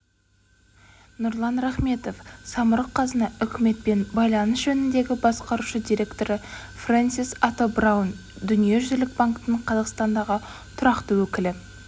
нұрлан рахметов самұрық-қазына үкіметпен байланыс жөніндегі басқарушы директоры фрэнсис ато браун дүниежүзілік банктің қазақстандағы тұрақты өкілі